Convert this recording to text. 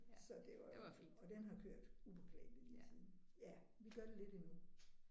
Så det var og den har kørt upåklageligt lige siden ja. Vi gør det lidt endnu